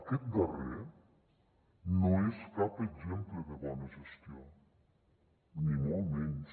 aquest darrer no és cap exemple de bona gestió ni molt menys